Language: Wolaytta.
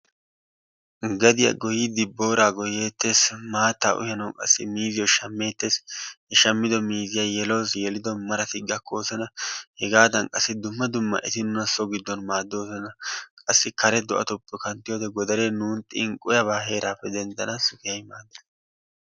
Gadiya goyiidi booraa goyeetees, maattaa uyanawu qassi miizziyo shameeteees, he shamido miizziya yelawusu, yelido marati gakkosona, hegaadan qassi dumma dumma eti nuna so giddon maaddoosona, qassi kare do'atukko kanttiyode godaree nuuni xinqqiyaba heeraappe denttanaassi keehi maaddees.